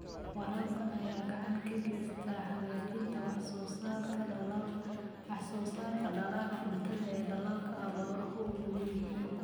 Waraabka ayaa gacan ka geysta hagaajinta wax soo saarka dalagga cuntada ee dalalka abaaruhu u nugul yihiin.